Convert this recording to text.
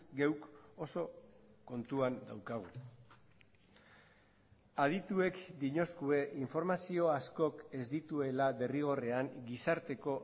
geuk oso kontuan daukagu adituek dinoskue informazio askok ez dituela derrigorrean gizarteko